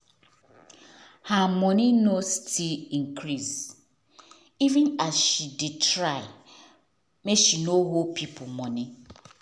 her moni nor still increase even as she dey try make she nor dey hol pipo moni